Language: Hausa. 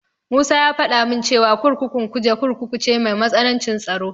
Musa ya faɗa min cewa kurkukun Kuje Kurkuku ce mai matsanancin tsaro.